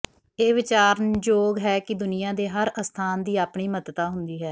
ਇਹ ਵਿਚਾਰਨਯੋਗ ਹੈ ਕਿ ਦੁਨੀਆ ਦੇ ਹਰ ਅਸਥਾਨ ਦੀ ਆਪਣੀ ਮਹੱਤਤਾ ਹੁੰਦੀ ਹੈ